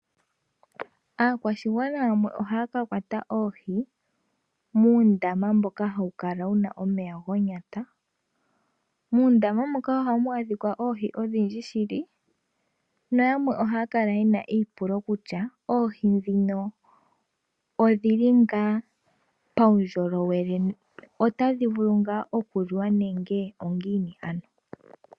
Aakwashigwana yamwe oha ya ka kwata oohi, muundama mboka ha wu kala wuna omeya gonyata, muundama muka oha mu adhika oohi odhindji shili, nayamwe oha ya kala yena eipulo kutya oohi ndhino odhi li ngaa paundjolowele, ota dhi vulu ngaa oku liwa nenge ongiini ano?